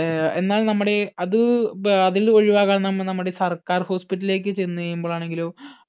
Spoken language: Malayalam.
ഏർ എന്നാൽ നമ്മുടെ അത് ഏർ അതിൽ ഒഴിവാകാൻ നമ്മ നമ്മടെ സർക്കാർ hospital ലേക്ക് ചെന്ന് കഴിയുമ്പോൾ ആണെങ്കിലോ